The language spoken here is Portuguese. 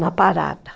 Na parada.